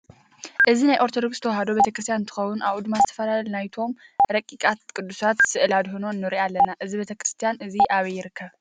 እዚ ናይ ኦርተደክስ ተዋህዶ ቤተክርስትያን እንትከውን ኣብኡ ድማ ዝተፈላዩ ናይቶም ረቂቃትን ቁዱሳት ስእሊ ኣድህኖ ንርኢ ኣለና። እዚ ቤተክርስትያን እዚ ኣብይ ይርከብ?